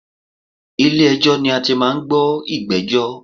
Ilè ẹjọ́ ni a ti máa n gbọ́ ìgbéjọ́